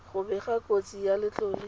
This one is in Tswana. go bega kotsi ya letlole